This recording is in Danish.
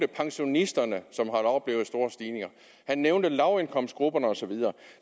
pensionisterne som havde oplevet store stigninger han nævnte lavindkomstgrupperne og så videre